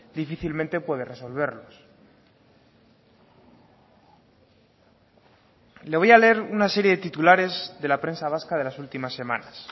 difícilmente puede resolverlos le voy a leer una serie de titulares de la prensa vasca de las últimas semanas